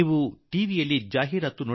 ನೀವು ಟಿವಿಯಲ್ಲಿ ಜಾಹಿರಾತನ್